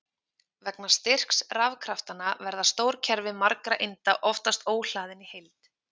Vegna styrks rafkraftanna verða stór kerfi margra einda oftast óhlaðin í heild.